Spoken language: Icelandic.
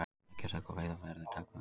Eggjataka og veiðar verði takmörkuð